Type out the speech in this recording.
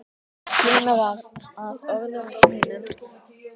Kemur að orðum mínum.